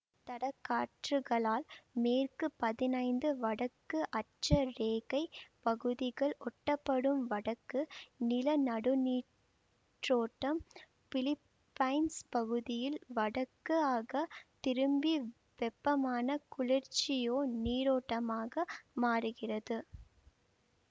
தடக் காற்றுகளால் மேற்கு பதினைந்து வடக்கு அட்ச ரேகைப் பகுதிக்கு ஒட்டப்படும் வடக்கு நிலநடுநீரோட்டம் பிலிப்பைன்ஸ் பகுதியில் வடக்காக திரும்பி வெப்பமான குரோசியோ நீரோட்டமாக மாறுகிறது